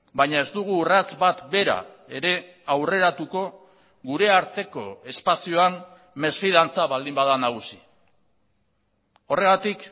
baina ez dugu urrats bat bera ere aurreratuko gure arteko espazioan mesfidantza baldin bada nagusi horregatik